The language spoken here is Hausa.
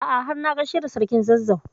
A'a har na gaishe da sarkin Zazzau.